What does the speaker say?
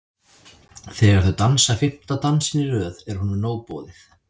Þegar þau dansa fimmta dansinn í röð er honum nóg boðið.